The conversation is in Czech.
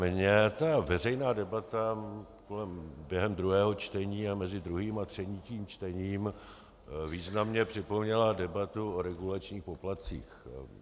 Mně ta veřejná debata během druhého čtení a mezi druhým a třetím čtením významně připomněla debatu o regulačních poplatcích.